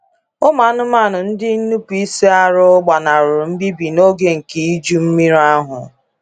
Ụmụ anụmanụ ndị nnupu isi arụ gbanahụrụ mbibi n’oge nke iju mmiri ahụ.